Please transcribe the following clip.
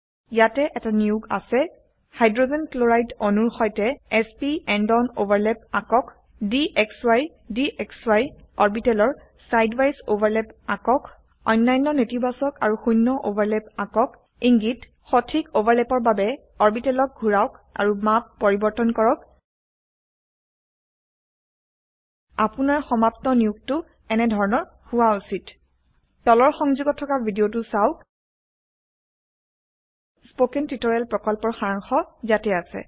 ইয়াতে এটা নিয়োগ আছে হাইড্ৰোজেন ক্লোৰাইড অণুৰ সৈতে s p end on overlap আকক dxy dxy অৰবিটেলৰ side ৱিছে ওভাৰলেপ আকক অন্যান্য নেতিবাচক আৰু শূন্য ওভাৰল্যাপ আঁকক ইঙ্গিত সঠিক ওভাৰলেপৰ বাবে অৰবিটেলক ঘোৰাওক আৰু মাপ পৰিবৰ্তন কৰক আপোনাৰ সমাপ্ত নিয়োগটো এনেধৰনৰ হোৱা উচিত তলৰ সংযোগত থকা ভিদিয়তো চাওক httpspoken tutorialorgWhat is a Spoken tutorial spoken tutorial প্ৰকল্পৰ সাৰাংশ ইয়াতে আছে